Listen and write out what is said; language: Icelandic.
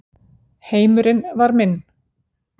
Heimurinn var minn.